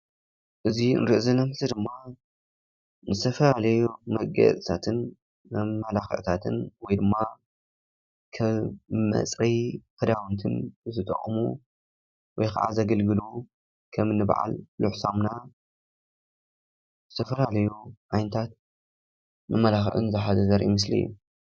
እዚ ንሪኦ ዘለና ምስሊ ድማ ዝተፈላለዩ መጋየፂታትን መማላክዕታትን ወይ ድማ ከም መፅረዪ ክዳውንትን ዝጠቕሙ ወይ ከዓ ዘገልግሉ ከምኒ በዓል ፍሉሕ ሳሙና ዝተፈላለዩ ዓይነታት መመላኽዒ ዝሓዘ ዘርኢ ምስሊ እዩ።